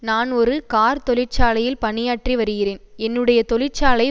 நான் ஒரு கார் தொழிற்சாலையில் பணியாற்றி வருகிறேன் என்னுடைய தொழிற்சாலை